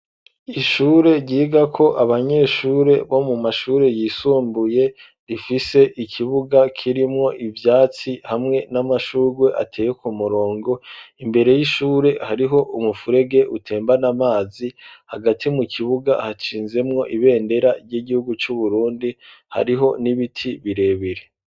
Ishure ryiga ko abanyeshure bo mu mashure yisumbuye rifise ikibuga kirimwo ivyatsi hamwe n'amashurwe ateye ku murongo imbere y'ishure hariho umufurege utembane amazi hagati mu kibuga hacinzemwo ibendera ry'igihugu c'uburundi hariho n'ibiti birebere.